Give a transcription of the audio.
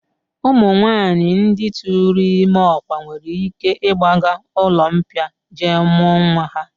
Ụmụnwaanyị ndị tụụrụ ime ọkwa nwere ike ịgbaga ụlọmbịa jee mụọ nwa ha